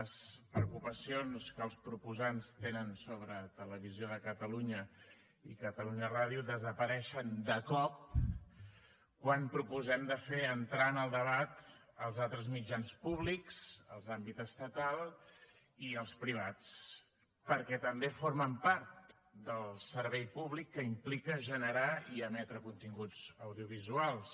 les preocupacions que els proposants tenen sobre televisió de catalunya i catalunya ràdio desapareixen de cop quan proposem de fer entrar en el debat els altres mitjans públics els d’àmbit estatal i els privats perquè també formen part del servei públic que implica generar i emetre continguts audiovisuals